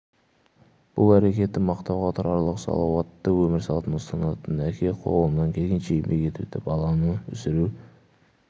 бұл әрекеті мақтауға тұрарлық салауатты өмір салтын ұстанатын әке қолынан келгенше еңбек етуде баланы өсіру